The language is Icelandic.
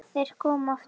Viltu giftast mér?